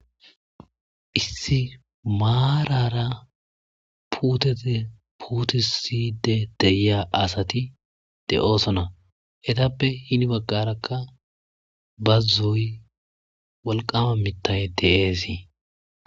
Issi maaraara puutete puutisiide de7iya asati de7osona. Etappe hini baqqarakka bazzoy walqqaama mittay de7eesi.